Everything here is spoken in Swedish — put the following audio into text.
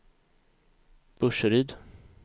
Burseryd